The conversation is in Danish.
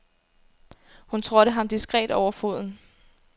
Hun trådte ham diskret over foden.